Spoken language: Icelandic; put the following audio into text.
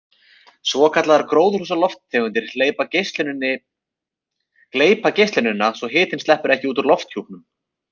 Svokallaðar gróðurhúsalofttegundir gleypa geislunina svo hitinn sleppur ekki út úr lofthjúpnum.